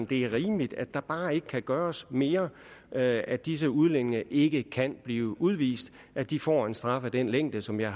det er rimeligt at der bare ikke kan gøres mere at at disse udlændinge ikke kan blive udvist og at de får en straf af den længde som jeg